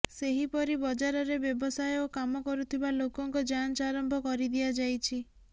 ସେହିପରି ବଜାରରେ ବ୍ୟବସାୟ ଓ କାମ କରୁଥିବା ଲୋକଙ୍କ ଯାଞ୍ଚ ଆରମ୍ଭ କରିଦିଆଯାଇଛି